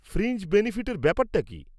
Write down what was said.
Fringe বেনিফিটের ব্যাপারটা কি?